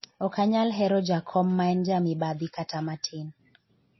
ok anyal hero jakom ma en ja mibadhi kata matin